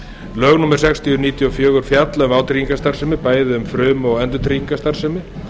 lög númer sextíu nítján hundruð níutíu og fjögur fjalla um vátryggingastarfsemi bæði um frum og endurtryggingastarfsemi